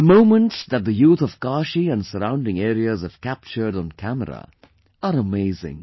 The moments that the youth of Kashi and surrounding areas have captured on camera are amazing